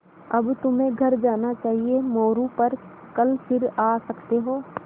अब तुम्हें घर जाना चाहिये मोरू पर कल फिर आ सकते हो